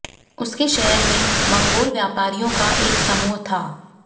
उनके शहर में मंगोल व्यापारियों का एक समूह था